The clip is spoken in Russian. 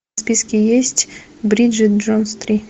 в списке есть бриджит джонс три